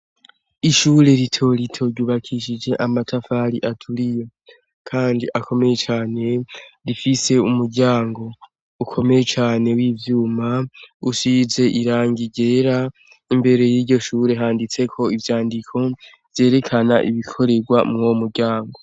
Ishure rito rito ryubakishije amatafari aturiye Kandi akomeye cane, rifise umuryango ukomeye cane w’ivyuma, usize irangi ryera, imbere yiryo shure handitseko ivyandiko vyerekana ibikoregwamw’uwo muryango.